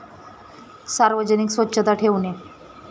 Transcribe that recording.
सार्वजनिक स्वच्छता ठेवणे.